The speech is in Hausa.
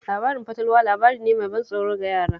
Labarin fatalwa labari ne mai ban tsoro ga yara